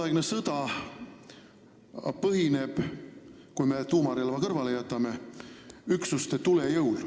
Tänapäeva sõda põhineb – kui me tuumarelva kõrvale jätame – üksuste tulejõul.